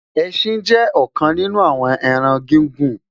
ẹsìn jé òkan nínú àwon ẹran gigun